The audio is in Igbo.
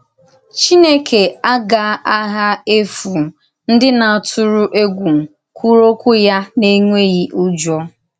Chìnèkè agà-àghà efù ndí na-átụ̀rụ̀ ègwù kwùrù òkwú ya n’ènwèghì ùjọ̀.